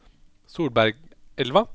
Solbergelva